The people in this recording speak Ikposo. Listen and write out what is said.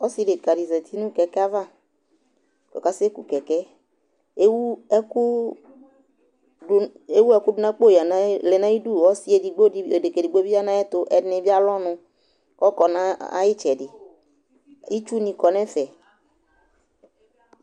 Ɔsɩ dekǝdɩ zati nʋ kɛkɛ ava :ɔkasɛ ku kɛkɛ, ; ewu ɛkʋʋ dʋ ewu ɛkʋ dʋ n'akpo yǝ n'ayi lɛ n'ayidu Ɔsɩ edigbodɩ edekǝ edigbo bɩ ya n'ayɛtʋ ɛdɩni bi alʋ ɔnʋ , k'ɔkɔ n'a ay'ɩtsɛdɩ , itsunɩ kɔ n'ɛfɛ